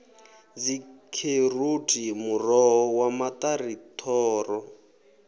dzikheroti muroho wa maṱari thoro